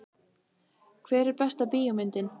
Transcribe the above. Hver er besta bíómyndin?